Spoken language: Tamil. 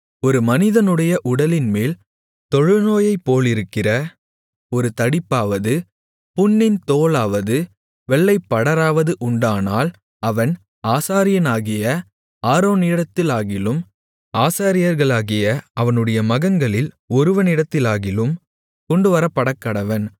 ஒரு மனிதனுடைய உடலின்மேல் தொழுநோயைப்போலிருக்கிற ஒரு தடிப்பாவது புண்ணின் தோலாவது வெள்ளைப்படராவது உண்டானால் அவன் ஆசாரியனாகிய ஆரோனிடத்திலாகிலும் ஆசாரியர்களாகிய அவனுடைய மகன்களில் ஒருவனிடத்திலாகிலும் கொண்டுவரப்படக்கடவன்